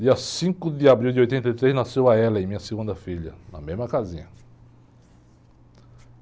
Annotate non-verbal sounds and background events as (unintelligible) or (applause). Dia cinco de abril de oitenta e três, nasceu a, (unintelligible) minha segunda filha, na mesma casinha.